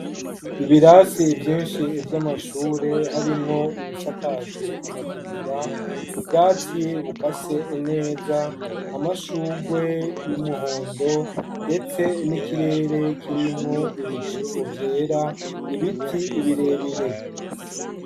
Ibirasi vyinshi vy'amashure harimwo ibisakajwe amategura, ubwatsi bukase neza, amashugwe y'umuhondo ,ndetse n'ikirere kirimwo ibicu vyera, ibiti ibirebire.